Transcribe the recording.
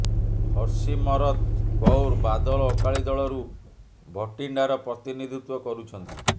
ହରସିମରତ କୌର ବାଦଲ ଅକାଳୀ ଦଳରୁ ଭଟିଣ୍ଡାର ପ୍ରତିନିଧିତ୍ୱ କରୁଛନ୍ତି